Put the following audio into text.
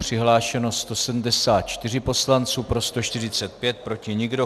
Přihlášeno 174 poslanců, pro 145, proti nikdo.